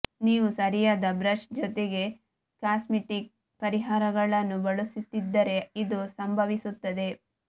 ನೀವು ಸರಿಯಾದ ಬ್ರಷ್ ಜೊತೆಗೆ ಕಾಸ್ಮೆಟಿಕ್ ಪರಿಹಾರಗಳನ್ನು ಬಳಸುತ್ತಿದ್ದರೆ ಇದು ಸಂಭವಿಸುತ್ತದೆ